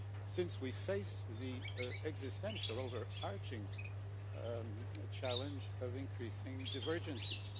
since we face the existential over arching challenge of increasing divergences.